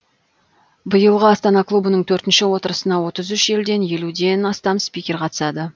биылғы астана клубының төртінші отырысына отыз үш елден елуден астам спикер қатысады